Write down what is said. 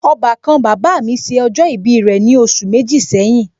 Ọbàkan bàbá mi ṣe ọjọ ibi rẹ̀ ní oṣù méjì sẹ́yìn